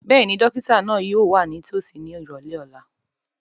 Bẹ́ẹ̀ni, dókítà yóò wà nítòsí ní ìrọ̀lẹ́ ọ̀la